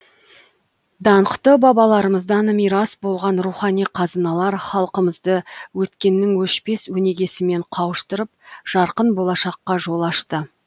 даңқты бабаларымыздан мирас болған рухани қазыналар халқымызды өткеннің өшпес өнегесімен қауыштырып жарқын болашаққа жол ашты